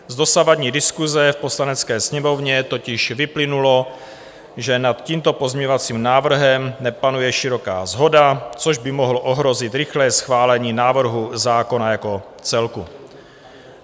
Z dosavadní diskuse v Poslanecké sněmovně totiž vyplynulo, že nad tímto pozměňovacím návrhem nepanuje široká shoda, což by mohlo ohrozit rychlé schválení návrhu zákona jako celku.